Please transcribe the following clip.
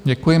Děkuji.